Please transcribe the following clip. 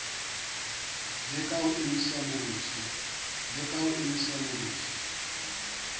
le ka ho emisa morusu